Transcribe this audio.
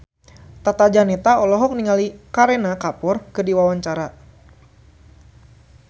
Tata Janeta olohok ningali Kareena Kapoor keur diwawancara